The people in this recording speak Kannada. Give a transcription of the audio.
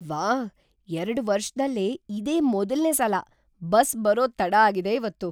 ವಾಹ್, ಎರಡು ವರ್ಷದಲ್ಲೇ ಇದೇ ಮೊದಲ್ನೇ ಸಲ ಬಸ್ ಬರೋದ್ ತಡ ಆಗಿದೆ‌ ಇವತ್ತು.